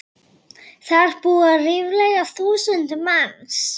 Þar búa ríflega þúsund manns.